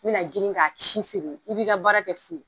N mi na girin ka si siri i b'i ka baara kɛ fu ye.